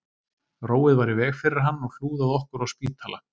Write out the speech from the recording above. Róið var í veg fyrir hann og hlúð að okkur á spítala